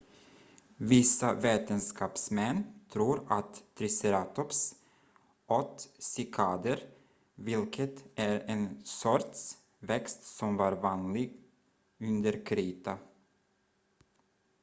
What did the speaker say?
vissa vetenskapsmän tror att triceratops åt cykader vilket är en sorts växt som var vanlig under krita